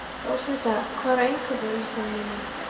Rósmunda, hvað er á innkaupalistanum mínum?